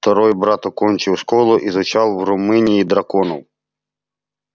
второй брат окончив школу изучал в румынии драконов